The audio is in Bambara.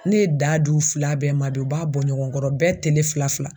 Ne ye daa d'u fila bɛɛ ma bi. U b'a bɔ ɲɔgɔn kɔrɔ bɛɛ tele fila fila.